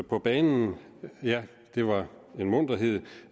på banen ja det var en munterhed